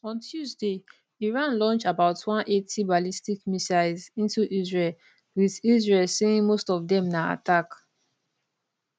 on tuesday iran launch about 180 ballistic missiles into israel wit israel saying most of dem na attack